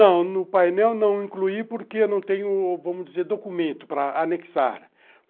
Não, no painel não incluí porque eu não tenho, vamos dizer, documento para anexar.